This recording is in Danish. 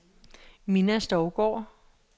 Minna Stougaard